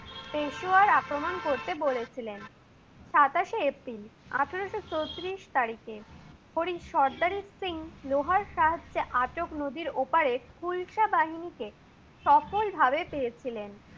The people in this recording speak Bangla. পেশুয়ার আক্রমণ করেছেন। সাতাশে এপ্রিল, আঠারোশ চৌত্রিশ তারিখে হরি সর্দার সিং লোহার সাহ্যাযে আটক নদীর ওপারে কুশলা বাহিনীকে সফল ভাবে পেয়েছিলেন।